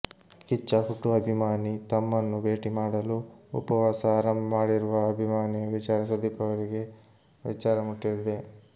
ಕಿಚ್ಚ ಹುಟ್ಟು ಅಭಿಮಾನಿ ತಮ್ಮನ್ನು ಭೇಟಿ ಮಾಡಲು ಉಪವಾಸ ಆರಂಭ ಮಾಡಿರುವ ಅಭಿಮಾನಿಯ ವಿಚಾರ ಸುದೀಪ್ ಅವರಿಗೆ ವಿಚಾರ ಮುಟ್ಟಿದೆ